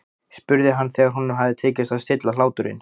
spurði hann þegar honum hafði tekist að stilla hláturinn.